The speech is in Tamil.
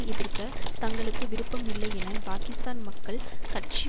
எதிர்க்க தங்களுக்கு விருப்பம் இல்லை என பாகிஸ்தான் மக்கள் கட்சி